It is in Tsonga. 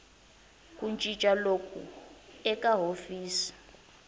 ku cinca loku eka hofisi